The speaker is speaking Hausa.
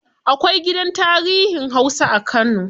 Akwai gidan tarihin hausa a kano.